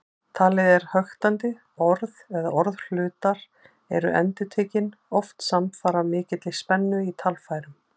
Talið er höktandi, orð eða orðhlutar eru endurtekin, oft samfara mikilli spennu í talfærum.